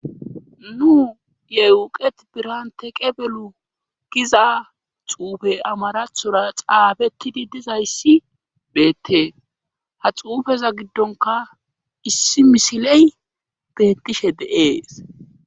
Nu yewuqet birante qebelu giza xuufe amarathora xaabettidi dizayssi beette ha xuufeza giddonka issi misiley beettishe deees.